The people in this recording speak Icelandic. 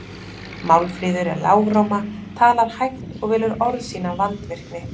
Málfríður er lágróma, talar hægt og velur orð sín af vandvirkni.